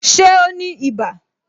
Ṣé o ní ibà